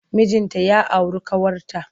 Mijinta ya auru ƙawarta.